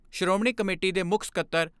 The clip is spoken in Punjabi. ਸ਼੍ਰੋਮਣੀ ਕਮੇਟੀ ਦੇ ਮੁੱਖ ਸਕੱਤਰ ਡਾ.